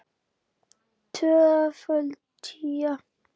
Tvöföld tía.